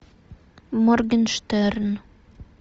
моргенштерн